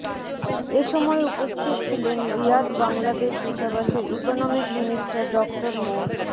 এ সময় উপস্থিত ছিলেন রিয়াদ বাংলাদেশ দূতাবাসের ইকোনমিক মিনিস্টার ডক্টর মো